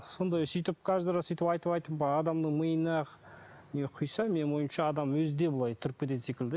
сондай сөйтіп каждый раз сөйтіп айтып айтып адамның миына не құйса менің ойымша адам өзі де былай тұрып кететін секілді